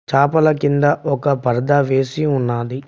చాపల కింద ఒక పర్దా వేసి ఉన్నాది.